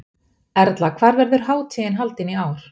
Erla, hvar verður hátíðin haldin í ár?